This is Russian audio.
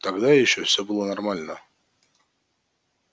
тогда ещё всё было нормально